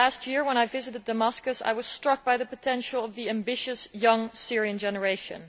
Last year, when I visited Damascus, I was struck by the potential of the ambitious young Syrian generation.